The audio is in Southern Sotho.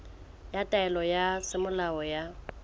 ya taelo ya semolao ya